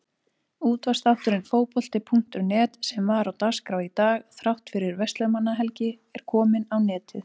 Útvarpsþátturinn Fótbolti.net sem var á dagskrá í dag þrátt fyrir Verslunarmannahelgi er kominn á netið.